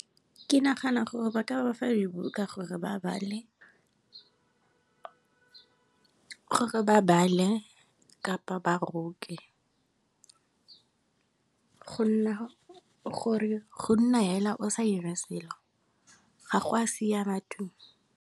Ke nagana gore ba ka bafa dibuka gore ba bale kapa ba roke, go nna hela o sa ira selo ga go a siama tu tu.